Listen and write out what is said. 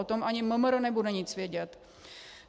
O tom ani MMR nebude nic vědět.